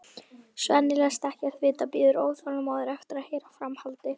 Svenni læst ekkert vita, bíður óþolinmóður eftir að heyra framhaldið.